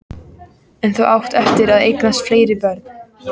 En þú átt eftir að eignast fleiri börn.